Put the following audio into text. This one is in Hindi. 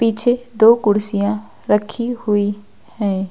पीछे दो कुर्सियां रखी हुई हैं।